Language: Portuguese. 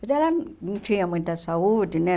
Mas ela não tinha muita saúde, né?